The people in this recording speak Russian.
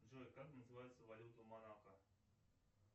джой как называется валюта монако